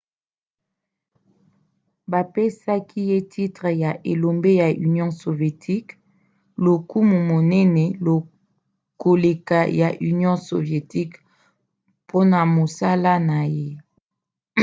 bapesaki ye titre ya elombe ya union sovietique lokumu monene koleka ya union sovietique mpona mosala na ye